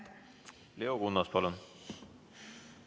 Leo Kunnas, palun!